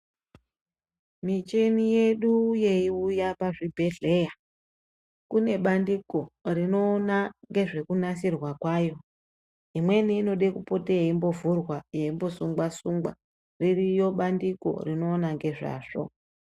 Micheni yedu yeiuya pazvibhedheya kunebandiko rinoona nezvekunasirwa kwayo. Imweni inode kupota yeimbovhurwa yeimbosungwa-sungwa, ririyo bandiko rinoona ngezvazvo.